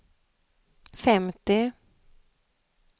femtio